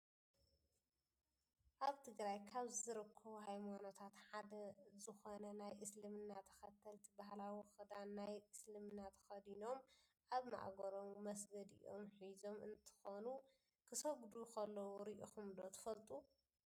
ኣብ ትግራይ ካብ ዝርከቡ ሃይማኖታት ሓደ ዝኮነ ናይ እስልምና ተከተልቲ ባህላዊ ክዳን ናይ እስልምና ተከዲኖም ኣብ ማእገሮም መስገዲኦም ሒዞም እንትኮኑ፣ ክሰግዱ ከለው ሪኢኩም ዶ ትፈልጡ?